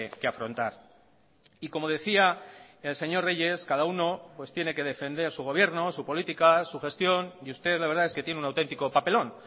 que afrontar y como decía el señor reyes cada uno pues tiene que defender su gobierno su política su gestión y usted la verdad es que tiene un autentico papelón